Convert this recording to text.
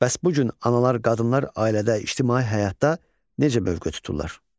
Bəs bu gün analar, qadınlar ailədə, ictimai həyatda necə mövqe tuturlar?